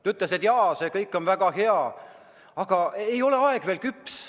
Ta ütles, et jaa, see kõik on väga hea, aga aeg ei ole veel küps.